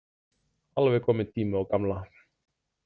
Alveg kominn tími á gamla.